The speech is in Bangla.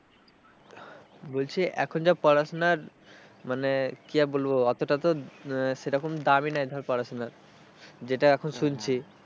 বলছি এখন যা পড়াশোনার মানে কি আর বলবো অতটা তো সেরকম দামই নেই ধর পড়াশোনার যেটা এখন শুনছি,